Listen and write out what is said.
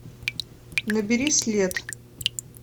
набери след